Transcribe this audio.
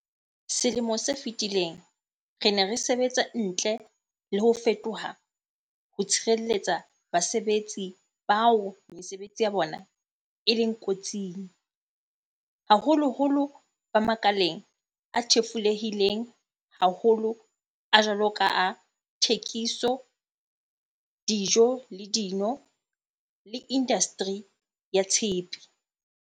Selemong se fetileng, re ne re sebetsa ntle le ho fetofe toha ho tshireletsa basebetsi bao mesebetsi ya bona e leng ko tsing, haholoholo ba makaleng a thefulehileng haholo a jwalo ka a thekiso, dijo le dino le indastri ya tshepe.